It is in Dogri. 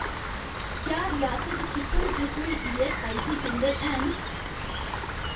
क्या रियासत सिक्किम च कोई ईऐस्सआईसी केंदर हैन